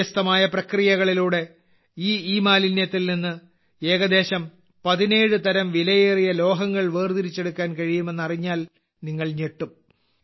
വ്യത്യസ്തമായ പ്രക്രിയകളിലൂടെ ഈ ഇമാലിന്യത്തിൽ നിന്ന് ഏകദേശം 17 തരം വിലയേറിയ ലോഹങ്ങൾ വേർതിരിച്ചെടുക്കാൻ കഴിയുമെന്ന് അറിഞ്ഞാൽ നിങ്ങൾ ഞെട്ടും